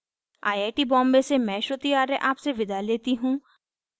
I I T Bombay से मैं श्रुति आर्य आपसे विदा लेती हूँ